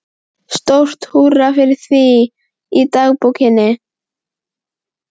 Stórt húrra fyrir því í dagbókinni.